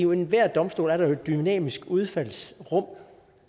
ved enhver domstol er der jo et dynamisk udfaldsrum